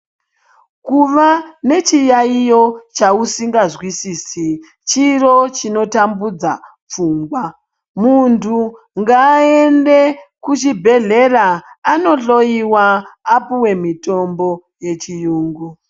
Kuva nechi yayiyo chausinga nzwisisi chiro chino tambudza pfungwa muntu ngaande kuchi bhedhlera ano dhloyiwa apuwe mitombo yechi yungu.